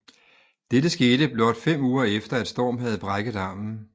Dette skete blot fem uger efter at Storm havde brækket armen